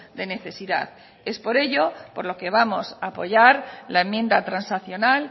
de necesidad es por ello por lo que vamos a apoyar la enmienda transaccional